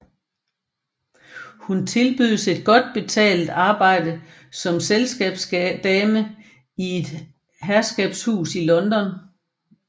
Hun tilbydes et godt betalt arbejde som selskabsdame i et herskabshus i London